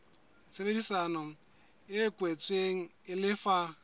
tshebedisano e kwetsweng e lefa